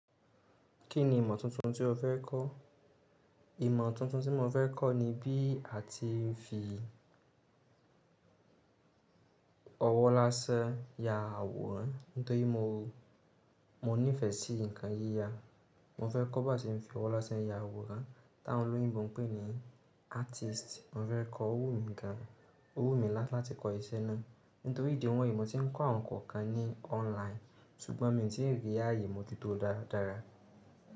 Kí ni ìmọ̀ tuntun tí o fẹ́ kọ́? Ìmọ̀ tuntun tí mo fẹ́ kọ́ ni bí a ti ń fi ọwọ́ lásẹ́ ya àwòrán. Nítorí mo, mo nífẹ̀ẹ́ sí nǹkan yíya. Mo fẹ́ kọ́ bá ṣe ń fi ọwọ́ lásán ya àwòrán tá won olóyìnbó ń pè ní artist. Mo fẹ́ kọ́, ó wù mí gan an, ó wù mí láti kọ iṣẹ́ náà. Nítorí ìdí wọn yìí mọ̀ tí ń kọ́ àwọn kan kan ní online ṣùgbọ́n mi ò tí rí àyè mo ju tó dára dára.